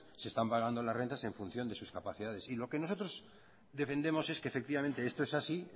se están pagando las rentas en función de sus capacidades y lo que nosotros defendemos es que efectivamente esto es así